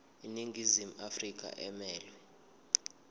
iningizimu afrika emelwe